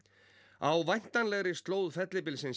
á væntanlegri slóð fellibylsins